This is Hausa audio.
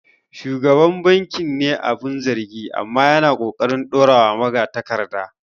Shugaban bankin ne abin zargi, amma yana ƙoƙarin dorawa magatakarda.